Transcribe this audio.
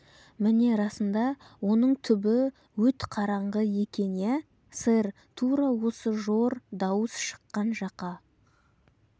міне расында оның түбі өт қараңғы екен иә сэр тура осы жор дауыс шыққан жаққа